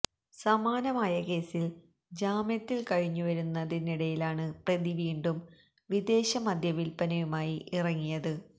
സമാനമായ കേസിൽ ജാമ്യത്തിൽ കഴിഞ്ഞുവരുന്നതിനിടയിലാണ് പ്രതി വീണ്ടും വിദേശമദ്യ വില്പനയുമായി ഇറങ്ങിയത്